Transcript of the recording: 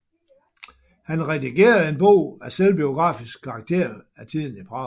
Han redigerede en bog af selvbiografisk karakter af tiden i Prag